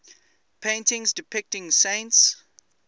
paintings depicting saints